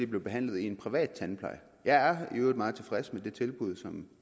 blev behandlet i en privat tandpleje jeg er i øvrigt meget tilfreds med det tilbud som